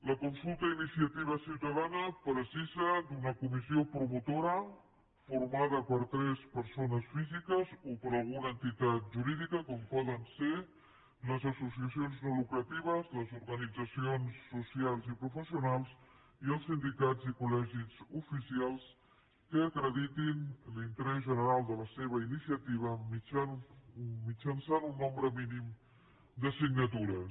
la consulta a iniciativa ciutadana necessita una comissió promotora formada per tres persones físiques o per alguna entitat jurídica com poden ser les associacions no lucratives les organitzacions socials i professionals i els sindicals i col·legis oficials que acreditin l’interès general de la seva iniciativa mitjançant un nombre mínim de signatures